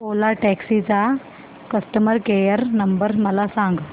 ओला taxi चा customer care number मला सांग